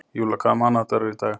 Júlla, hvaða mánaðardagur er í dag?